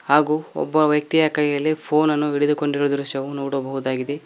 ಹಾಕು ಒಬ್ಬ ವ್ಯಕ್ತಿಯ ಕೈಯಲ್ಲಿ ಫೋನ್ ಅನ್ನು ಹಿಡಿದುಕೊಂಡಿರುವ ದೃಶ್ಯವನ್ನು ನೋಡಬಹುದಾಗಿದೆ.